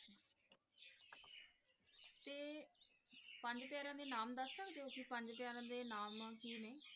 ਪੰਜ ਪਿਆਰਿਆਂ ਦੇ ਨਾਮ ਦੱਸ ਸਕਦੇ ਹੋ ਕੇ ਪੰਜ ਪਿਆਰਿਆਂ ਦੇ ਨਾਮ ਕੀ ਨੇ